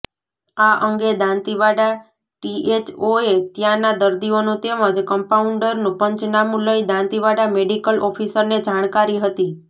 આ અંગે દાંતીવાડા ટીએચઓએ ત્યાંના દર્દીઓનું તેમજ કમ્પાઉન્ડરનું પંચનામું લઈ દાંતીવાડા મેડિકલ ઓફિસરને જાણકારી હતી